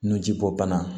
Nu ji bɔ bana